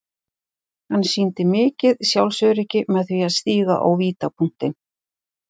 Hann sýndi mikið sjálfsöryggi með því að stíga á vítapunktinn.